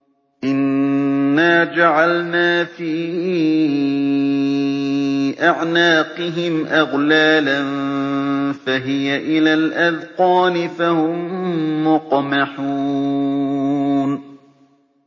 إِنَّا جَعَلْنَا فِي أَعْنَاقِهِمْ أَغْلَالًا فَهِيَ إِلَى الْأَذْقَانِ فَهُم مُّقْمَحُونَ